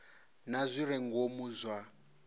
na zwi re ngomu zwa